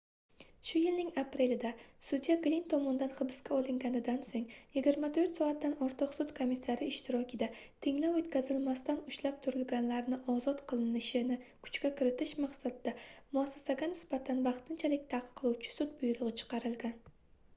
shu yilning aprelida sudya glinn tomonidan hibsga olinganidan soʻng 24 soatdan ortiq sud komissari ishtirokida tinglov oʻtkazilmasdan ushlab turilganlarni ozod qilinishini kuchga kiritish maqsadida muassasaga nisbatan vaqtinchalik taqiqlovchi sud buyrugʻi chiqarilgan